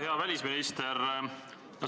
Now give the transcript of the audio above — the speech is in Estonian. Hea välisminister!